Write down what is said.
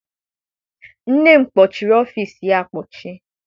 Nne m kpọchịrị ọfịịsi ya akpọchi.